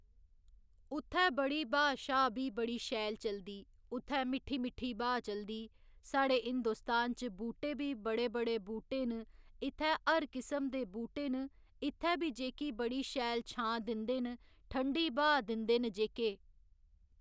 उत्थै बड़ी हवा शवा बी बड़ी शैल चलदी उत्थै मिट्ठी मिट्ठी हवा चलदी साढ़े हिन्दोस्तान च बूह्टे बी बड़े बड़े बूह्टे न इत्थै हर किस्म दे बूह्टे न इत्थै ब जेह्की बड़ी शैल छां दिंदे न ठंडी हवा दिंदे न जेह्‌के